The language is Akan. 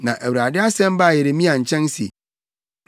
Na Awurade asɛm baa Yeremia nkyɛn se,